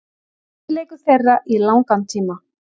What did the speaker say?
Besti leikur þeirra í langan tíma.